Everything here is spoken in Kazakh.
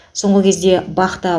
соңғы кезде бақ та